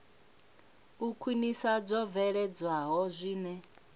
u khwinisa zwo bveledzwaho zwine